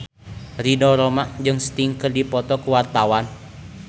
Ridho Roma jeung Sting keur dipoto ku wartawan